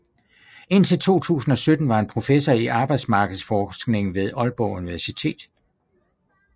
Indtil 2017 var han professor i arbejdsmarkedsforskning ved Aalborg Universitet